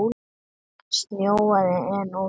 Það snjóaði enn úti.